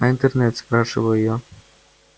а интернет спрашиваю я